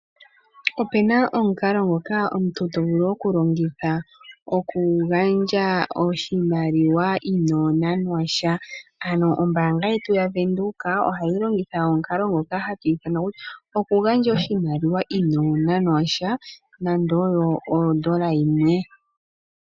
Opena omukalo ngoka omuntu tovulu okulongitha okugandja oshimaliwa inonanwa sha ano ombaanga yetu yaVenduka ohayi longitha omukalo ngoka hatu ithana kutya okugandja oshimaliwa inonanwa sha nando oyo ondola yimwe.